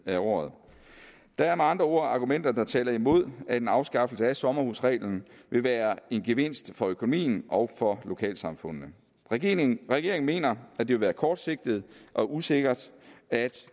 af året der er med andre ord argumenter der taler imod at en afskaffelse af sommerhusreglen vil være en gevinst for økonomien og for lokalsamfundene regeringen regeringen mener at det vil være kortsigtet og usikkert at